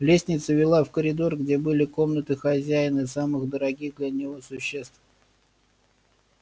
лестница вела в коридор где были комнаты хозяина и самых дорогих для него существ